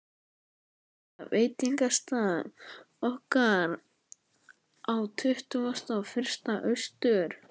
huggulega veitingastað okkar á Tuttugasta og fyrsta Austur